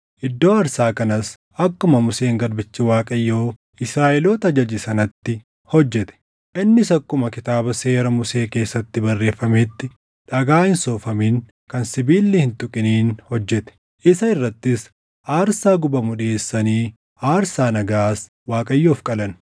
Iddoo aarsaa kanas akkuma Museen garbichi Waaqayyoo Israaʼeloota ajaje sanatti hojjete. Innis akkuma Kitaaba Seera Musee keessatti barreeffametti dhagaa hin soofamin kan sibiilli hin tuqiniin hojjete; isa irrattis aarsaa gubamu dhiʼeessanii aarsaa nagaas Waaqayyoof qalan.